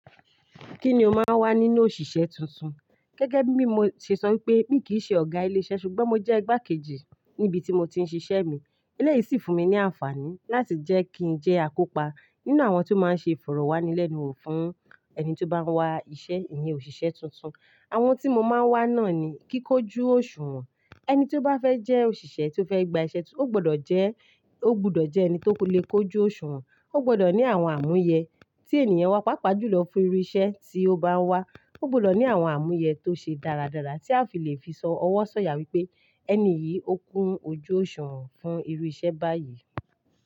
Kí ni o máa ń wá nínú òṣìṣẹ́ tuntun? Gẹ́gẹ́ bí mi, mo ṣe sọ wípé mi kì í ṣe ọ̀gá ilé iṣẹ́ ṣùgbọ́n mo jẹ́ igbákejì níbi tí mo ti ń ṣiṣẹ́ mi. Eleyìí sì fún mi ní àǹfààní láti jẹ́ kí ń jẹ́ akópa nínú àwọn tí ó máa ń ṣe ìfọ̀rọ̀wánilẹ́nuwò fún ẹni tí ó bá wá iṣẹ́ ìyẹn òṣìṣẹ́ tuntun. Àwọn tí mo máa ń wá náà ni kíkójú òṣùwọ̀n. Ẹni tí ó bá fẹ́ jẹ́ òṣìṣẹ́ tí ó fẹ́ gba iṣẹ́ tuntun, ó gbọ́dọ̀ jẹ́, ó gbọ́dọ̀ jẹ́ ẹni tó lè kojú òṣùwọ̀n. Ó gbọ́dọ̀ ní àwọn àmúyẹ tí ènìyàn wa pàápàá jùlọ fún irú iṣẹ́ tí ó bá ń wá. Ó gbọ́dọ̀ ní àwọn àmúyẹ tó ṣe dáradára tí a fi lè fi sọ ọwọ́ sọ̀yà wípé ẹni yìí ókún ojú òṣuwọ̀n fún irú iṣẹ́ báyìí.